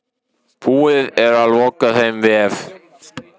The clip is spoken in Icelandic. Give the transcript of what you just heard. Búið er að loka þeim vef.